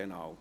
– Genau.